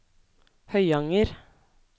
Høyanger